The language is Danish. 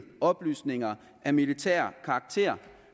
oplysninger af militær karakter